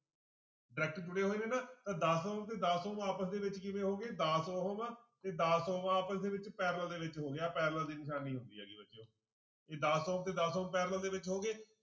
Direct ਜੁੜੇ ਹੋਏ ਨੇ ਨਾ ਤਾਂਂ ਦਸ ਉਹ ਤੇ ਦਸ ਉਹ ਆਪਸ ਦੇ ਵਿੱਚ ਕਿੰਨੇ ਹੋ ਗਏ ਦਸ ਉਹ ਵਾ ਤੇ ਦਸ ਉਹ ਆਪਸ ਦੇ ਵਿੱਚ parallel ਦੇ ਵਿੱਚ ਹੋ ਗਿਆ ਆਹ parallel ਦੀ ਨਿਸ਼ਾਨੀ ਹੁੰਦੀ ਹੈਗੀ ਬੱਚਿਓ ਇਹ ਦਸ ਉਹ ਤੇ ਦਸ ਉਹ parallel ਦੇ ਵਿੱਚ ਹੋ ਗਏ